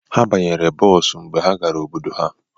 Ha banyere bọọsụ mgbe ha gara obodo ha